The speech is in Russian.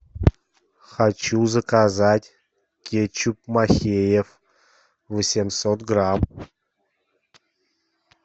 хочу заказать кетчуп махеев восемьсот грамм